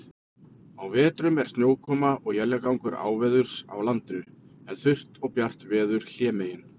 Á vetrum er snjókoma og éljagangur áveðurs á landinu, en þurrt og bjart veður hlémegin.